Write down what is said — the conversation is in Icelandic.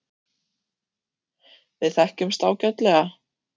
Við þekkjumst ágætlega.